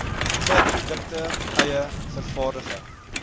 klaarprodukte eie vervaardigde